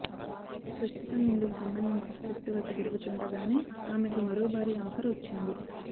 ప్రస్తుతం ఇందుకు సంబంధించి స్క్రిప్టు వర్క్ జరుగుతుండగానే ఆమెకు మరో భారీ ఆఫర్ వచ్చింది